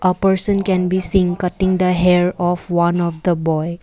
a person can be seen cutting the hair of one of the boy.